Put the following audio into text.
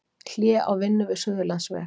Hlé á vinnu við Suðurlandsveg